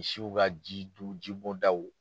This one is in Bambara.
Misiw ka jiduuru jibɔdaw.